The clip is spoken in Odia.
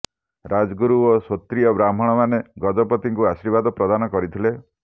ରାଜଗୁରୁ ଓ ସ୍ୱୋତ୍ରିୟ ବ୍ରାହ୍ମଣମାନେ ଗଜପତି ଙ୍କୁ ଆର୍ଶୀବାଦ ପ୍ରଦାନ କରିଥିଲେ